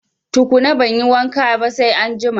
Tukuna banyi wanka ba sai anjima